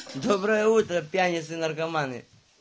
доброе утро пьяницы и наркоманы